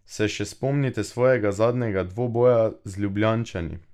Se še spomnite svojega zadnjega dvoboja z Ljubljančani?